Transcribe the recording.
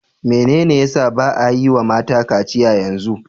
Menene ya sa ba'a yi wa mata kaciya yanzu?